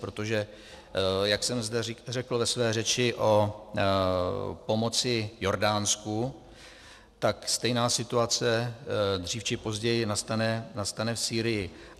Protože jak jsem zde řekl ve své řeči o pomoci Jordánsku, tak stejná situace dřív či později nastane v Sýrii.